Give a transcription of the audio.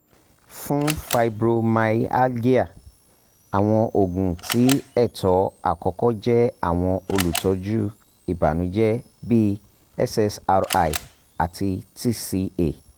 fun fibromyalgia awọn oogun ti ẹtọ akọkọ jẹ awọn olutọju ibanujẹ bi ssri ati tca